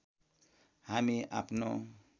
हामी आफ्नो